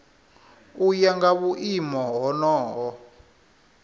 u ya nga vhuimo honoho